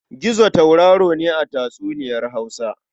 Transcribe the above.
Gizo tauraro ne a tatsuniyar Hausa.